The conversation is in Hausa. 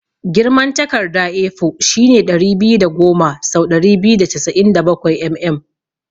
Girman takarda A4 shine ɗari biyu da goma sau ɗari biyu da casa'in da bakwai mm.